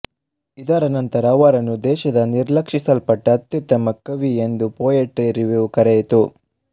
ಇದರ ನಂತರ ಅವರನ್ನು ದೇಶದ ನಿರ್ಲಕ್ಷಿಸಲ್ಪಟ್ಟ ಅತ್ಯುತ್ತಮ ಕವಿ ಎಂದು ಪೋಯೆಟ್ರಿ ರಿವ್ಯೂ ಕರೆಯಿತು